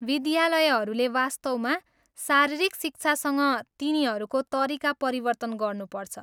विद्यालयहरूले वास्तवमा शारीरिक शिक्षासँग तिनीहरूको तरिका परिवर्तन गर्नुपर्छ।